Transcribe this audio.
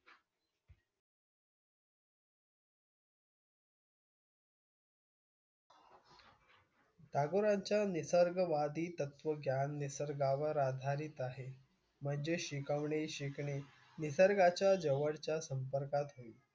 टागोरांच्या निसर्गवादी तत्वज्ञान निसर्गावर आधारित आहे. म्हणजे शिकवणे, शिकणे निसर्गाच्या जवळच्या संपर्कात होय.